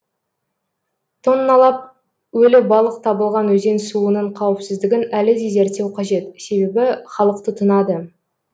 тонналап өлі балық табылған өзен суының қауіпсіздігін әлі де зерттеу қажет себебі халық тұтынады